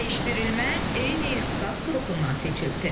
Dəyişdirilmə eyni ixtisas qrupundan seçilsin.